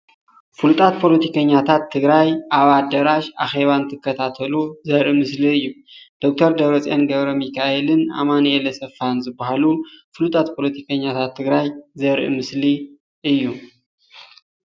ፍሉጣት ፓለቲከኛታታት ትግራዬ ኣብ ኣዳራሽ ኣኼባ እንትከታተሉ ዘርኢ ምስሊ እዩ። ዶክተር ደብረፂዮን ገብረሚካኤል ን ኣማኒኤል አሰፋ ዝበሃሉን ፍሉጣት ፓለቲከኛታት ትግራይ ዘርኢ ምስሊ እዩ።